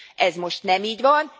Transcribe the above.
Ez most nem így van.